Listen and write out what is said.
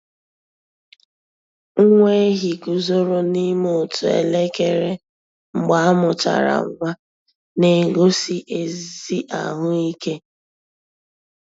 Nwa ehi guzoro n'ime otu elekere mgbe amuchara nwa, na-egosi ezi ahụ ike.